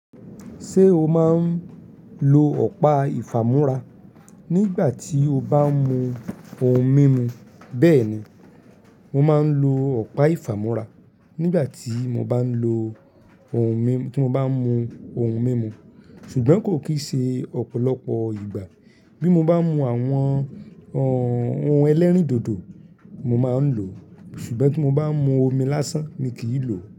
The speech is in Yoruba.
Ṣé o máa ń lo ọ̀pá ìfàmúrá nígbà tí o bá ń mu ohun mímu? Bẹ́ẹ̀ni, mo máa ń lo ọ̀pá ìfàmúrá nígbà tí mo bá ń lo ohun mímu, tí mo bá ń mu ohun mímu, ṣùgbọ́n kò kì í ṣe ọ̀pọ̀lọpọ̀ ìgbà. Bí mo bá ń mu àwọn ọ̀n, ohun ẹlẹ́rìndòdò, mo máa ń lò ó, ṣùgbọ́n tí mo bá ń mu omi lásán, mi kì í lò ó.